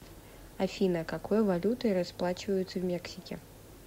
афина какой валютой расплачиваются в мексике